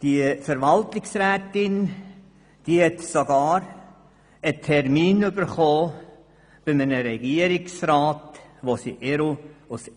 Diese Verwaltungsrätin hat sogar bei einem Regierungsrat einen Termin erhalten.